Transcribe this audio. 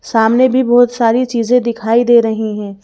सामने भी बहुत सारी चीजें दिखाई दे रही हैं।